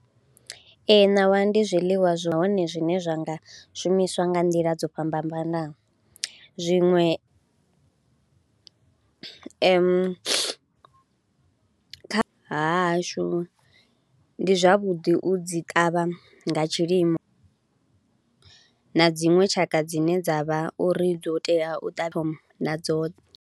Ee ṋawa ndi zwiḽiwa zwine zwa nga shumiswa nga nḓila dzo fhambanaho, zwiṅwe kha hashu ndi zwavhuḓi u dzi ṱavha nga tshilimo na dziṅwe tshaka dzine dza vha uri dzo tea u ṱavha nadzo.